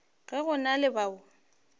ge go na le bao